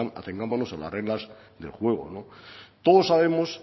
atengámonos a las reglas del juego todos sabemos